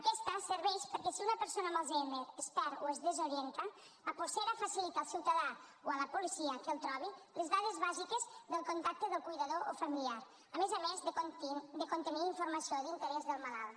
aquesta serveix perquè si una persona amb alzheimer es perd o es desorienta la polsera facilita al ciutadà o a la policia que el trobi les dades bàsiques del contacte del cuidador o familiar a més a més de contenir informació d’interès del malalt